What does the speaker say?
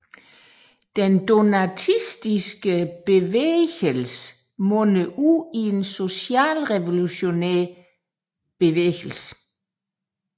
Den donatistiske bevægelse mundede ud i en socialrevolutionær bevægelse